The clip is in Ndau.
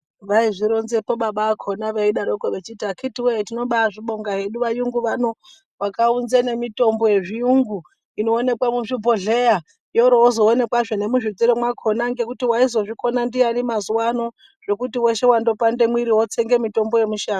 Vaizvironzera baba vacho vachiti akiti woye tinobazvibonga varungu Vaya vakaunza nemitombo yechirungu Inoonekwa muzvibhohleya yozoonekwa muzvitoro zvakona ngekuti vaizozvikona ndiyani mazuva ano zvekuti wopanda mumwiri wotsenga mutombo wemushango.